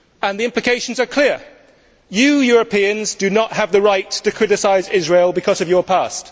The implications are clear you Europeans do not have the right to criticise Israel because of your past.